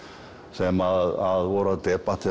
sem voru að